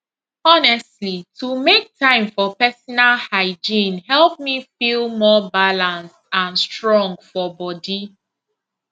honestly to make time for personal hygiene help me feel more balanced and strong for body